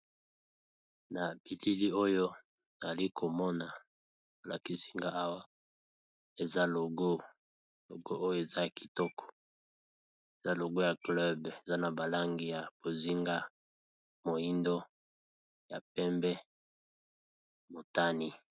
Na bilili oyo nali komona balakisinga ,awa eza logo oyo eza kitoko eza logo ya club eza na ba langi ya bozinga , langi moindo langi ya pembe ,langi ya motani.